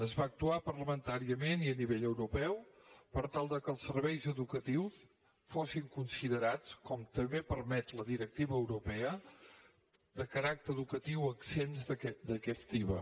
es va actuar parlamentàriament i a nivell europeu per tal que els serveis educatius fossin considerats com també ho permet la directiva europea de caràcter educatiu exempts d’aquest iva